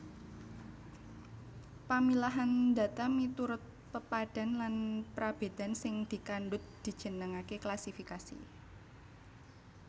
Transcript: Pamilahan data miturut pepadhan lan prabédan sing dikandhut dijenengaké klasifikasi